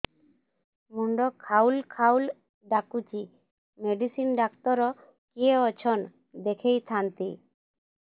ମୁଣ୍ଡ ଖାଉଲ୍ ଖାଉଲ୍ ଡାକୁଚି ମେଡିସିନ ଡାକ୍ତର କିଏ ଅଛନ୍ ଦେଖେଇ ଥାନ୍ତି